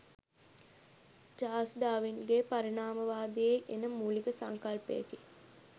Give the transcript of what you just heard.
Charles ඩාවින්ගේ පරිණාමවාදයේ එන මූලික සංකල්පයකි